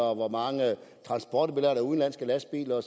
og hvor mange transporter der er med udenlandske lastbiler